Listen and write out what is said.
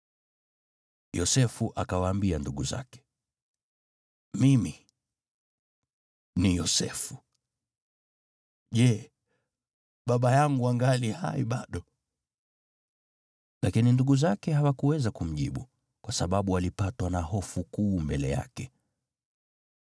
Yosefu akawaambia ndugu zake, “Mimi ni Yosefu! Je, baba yangu angali hai bado?” Lakini ndugu zake hawakuweza kumjibu, kwa sababu walipatwa na hofu kuu mbele yake.